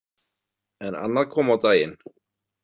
En annað kom á daginn.